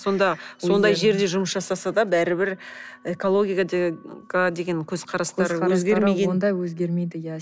сонда сондай жерде жұмыс жасаса да бәрібір экологияға деген көзқарастары өзгермеген онда өзгермейді иә